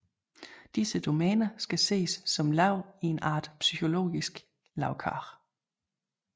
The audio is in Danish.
Disse domæner skal ses som lag i en art psykologisk lagkage